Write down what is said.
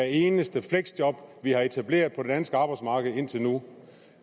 eneste fleksjob vi har etableret på det danske arbejdsmarked indtil nu